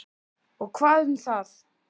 Og hvað um það!